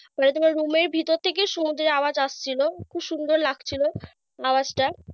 তাহলে তোমার রুমের ভেতর থেকে সমুদ্রের আওয়াজ আসছিল। কি সুন্দর লাগছিল আওয়াজটা।